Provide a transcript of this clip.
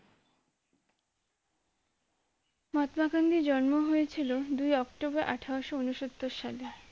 মহাত্মা গান্ধীর জন্ম হয়েছিল দুই অক্টোবর আঠারোশো উন্নসত্তর সালে